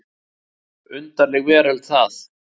Undarleg veröld það.